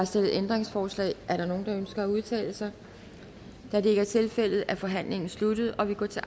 stillet ændringsforslag er der nogen der ønsker at udtale sig da det ikke er tilfældet er forhandlingen sluttet og vi går til